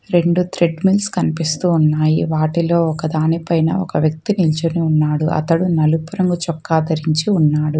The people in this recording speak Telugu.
రెండు త్రెడ్మిల్స్ కనిపిస్తూ ఉన్నాయి వాటిలో ఒక దానిపైన ఒక వ్యక్తి నిల్చొని ఉన్నాడు అతడు నలుపు రంగు చొక్కా ధరించి ఉన్నాడు.